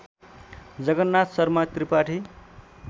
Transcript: Jagannath Sharma Tripathi